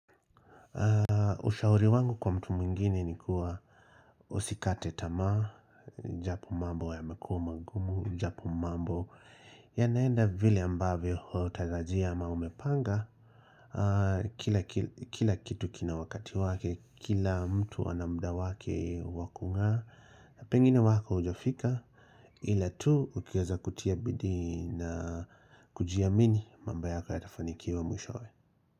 Ushauri wangu kwa mtu mwingine ni kuwa usikate tamaa Japo mambo yamekuwa magumu Japo mambo yanaenda vile ambavyo hutaraji ama umepanga Kila kitu kina wakati wake Kila mtu ana muda wake wa kungaa na pengine wako hujafika Ila tu ukiweza kutia bidii na kujiamini mambo yako yatafanikiwa mwishowe.